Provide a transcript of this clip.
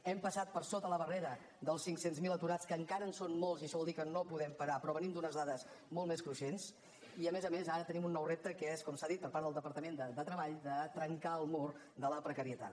hem passat per sota la barrera dels cinc cents miler aturats que encara en són molts i això vol dir que no podem parar però venim d’unes dades molt més cruixents i a més a més ara tenim un nou repte que és com s’ha dit per part del departament de treball de trencar el mur de la precarietat